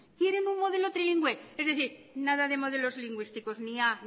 quieren un modelo trilingüe es decir nada de modelos lingüísticos ni a